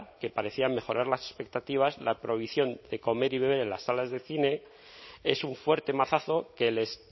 que parecían mejorar las expectativas la prohibición de comer y beber en las salas de cine es un fuerte mazazo que les